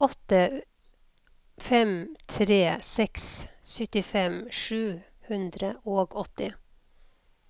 åtte fem tre seks syttifem sju hundre og åtti